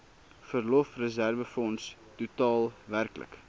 verlofreserwefonds totaal werklik